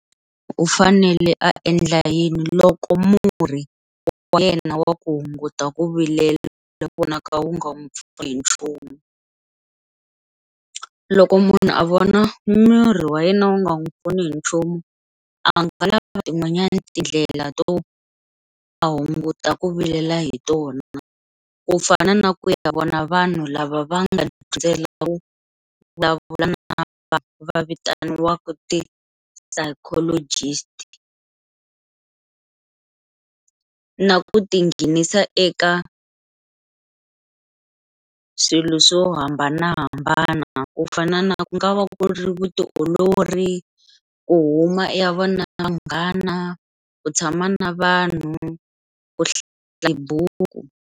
U fanele a endla yini loko murhi wa yena wa ku hunguta ku vilela wu vonaka wu nga n'wi pfuni hi nchumu, loko munhu a vona murhi wa yena wu nga n'wi pfuni hi nchumu a nga lavi tin'wanyani tindlela to a hunguta ku vilela hi tona, ku fana na ku ya ka vona vanhu lava va nga dyondzela ku vulavula na vanhu vitaniwaka ti psychologist na ku tinghenisa eka swilo swo hambanahambana ku fana na ku nga va ku ri vutiolori, u huma u ya vonana na vanghana, ku tshama na vanhu ku hlaya tibuku.